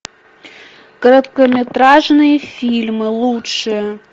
короткометражные фильмы лучшие